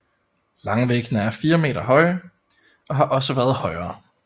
Langvæggene er 4 meter høje og har også været højere